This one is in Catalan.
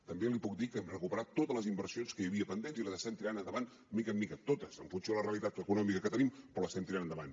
també li puc dir que hem recuperat totes les inversions que hi havia pendents i les estem tirant endavant de mica en mica totes en funció de la realitat econòmica que tenim però l’estem tirant endavant